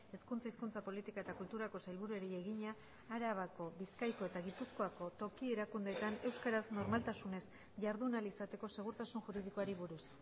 hezkuntza hizkuntza politika eta kulturako sailburuari egina arabako bizkaiko eta gipuzkoako toki erakundeetan euskaraz normaltasunez jardun ahal izateko segurtasun juridikoari buruz